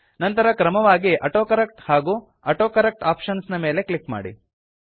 ನಂತರ ಕ್ರಮವಾಗಿ ಆಟೋಕರೆಕ್ಟ್ ಹಾಗೂ ಆಟೋಕರೆಕ್ಟ್ ಆಪ್ಷನ್ಸ್ ನ ಮೇಲೆ ಕ್ಲಿಕ್ ಮಾಡಿ